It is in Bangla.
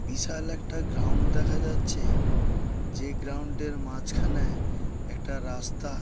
বিশাল একটা গ্রাউন্ড দেখা যাচ্ছে। যে গ্রাউন্ড -এর মাঝখানে একটা রাস্তা--